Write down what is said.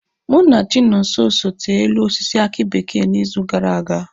Mụ na Chinonso so tee elu osisi aki bekee n'izu gara aga